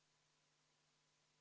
V a h e a e g